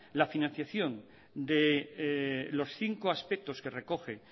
la financiación de los cinco aspectos que recoge